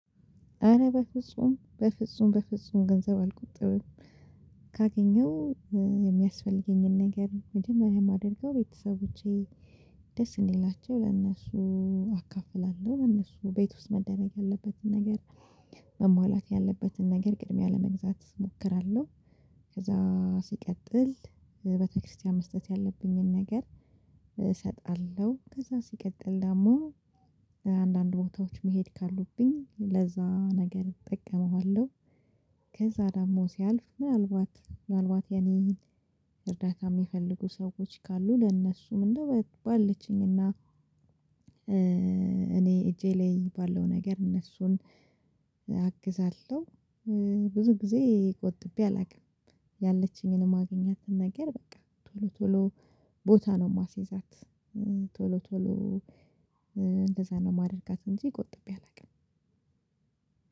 አረ በፍጹም በፍጹም በፍጹም ገንዘብ አልቆጥብም። ካገኘው የሚያስፈልገኝን ነገር መጀመሪያ የማደርገው ቤተሰቦቼ ደስ እንዲላቸው ለእነሱ አካፍላለሁ። እነሱ ቤት ውስጥ መደረግ ያለበትን ነገር መሟላት ያለበትን ነገር ቅድሚያ ለመግዛት እሞክራለሁ። ከዛ ሲቀጥል ቤተክርስቲያን መስጠት ያለብኝን ነገር እሰጣለሁ። ከዛ ሲቀጥል ደግሞ አንዳንድ ቦታዎች መሄድ ካሉብኝ ለዛ ነገር እጠቀመዋለሁ። ከዛ ደሞ ሲያልፍ ምናልባት ምናልባት የኔ እርዳታ የሚፈልጉ ሰዎች ካሉ ለእነሱ ምንድነው? ባለችኝ እና እኔ እጄ ላይ ባለው ነገር እነሱን አግዛለሁ። ብዙ ጊዜ ቆጥቤ አላውቅም። ያለችኝን ማገኛትን ነገር በቃ ቶሎ ቶሎ ቦታ ነው የማሲዛት። ቶሎ ቶሎ እንደዛ ነው ማደርጋት እንጂ ቆጥቤ አላውቅም።